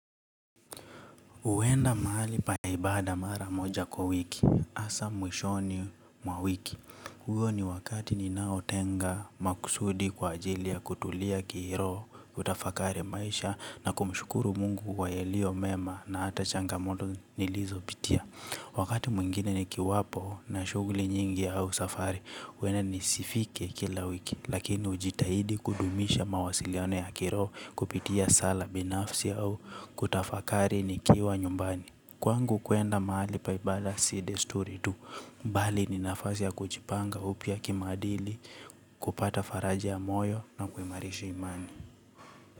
Huenda mahali pa ibada mara moja kwa wiki, hasa mwishoni mwa wiki. Hiyo ni wakati ninaotenga makusudi kwa ajili ya kutulia kiroho, kutafakari maisha na kumshukuru mungu kwa yalio mema na hata changamoto nilizopitia. Wakati mwengine nikiwapo na shughuli nyingi au safari, huenda nisifike kila wiki. Lakini hujitahidi kudumisha mawasiliano ya kiroho, kupitia sala binafsi au kutafakari nikiwa nyumbani. Kwangu kuenda mahali paibala si desturi tu bali ni nafasi ya kuchipanga upya kimaadili. Kupata faraja ya moyo na kuimarisha imani.